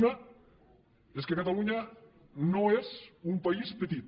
una és que catalunya no és un país petit